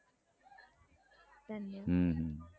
હમ